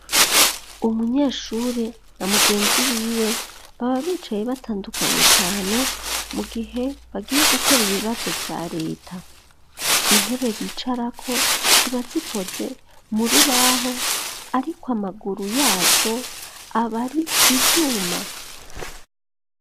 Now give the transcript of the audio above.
Umunyeshure na mugenzi wiwe baba bicaye batandukanye cane mu gihe bagiye gukora ibibazo vya leta. Intebe bicarako ziba zikoze mu rubaho ariko amaguru yazo abari ivyuma.